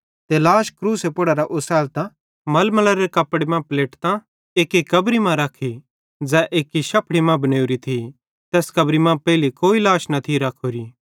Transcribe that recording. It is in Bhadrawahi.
ते लाश क्रूसे पुड़ेरां ओसैलतां मलमलेरे कपड़े मां पलेटतां ते एक्की कब्री मां रखी ज़ै एक्की शफ़ड़ी मां बनेवरी थी तैस कब्री मां पेइले कोई लाश न थी रखोरी